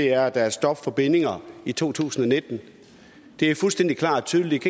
er at der er stop for bindinger i to tusind og nitten det er fuldstændig klart og tydeligt